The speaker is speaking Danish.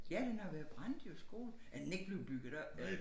Ja den har været brændt jo skolen er den ikke blevet bygget op